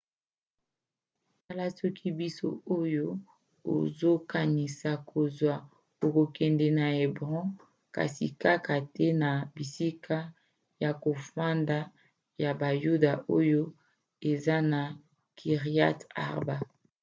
tala soki bisi oyo ozokanisa kozwa ekokende na hébron kasi kaka te na bisika ya kofanda ya bayuda oyo eza na kiryat arba